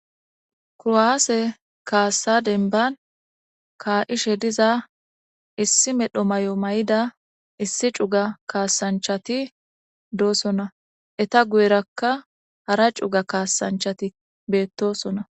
Kurowaase kaasa denban kaa'ishe diza issi medho may'o may'ida issi cuga kaasanchati doosona eta guyerakka hara cuga kaasanchati beettosona.